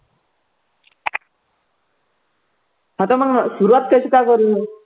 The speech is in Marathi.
आता मग सुरुवात कशी काय करू.